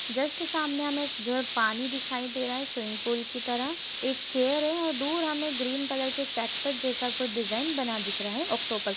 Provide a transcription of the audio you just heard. Just सामने हमें एक जो है पानी दिखाई दे रहा है स्विमिंग पुल की तरह। एक चेयर है और दूर हमें ग्रीन कलर के कैक्टस जैसा कुछ डिजाइन बना दिख रहा है ऑक्टोपस --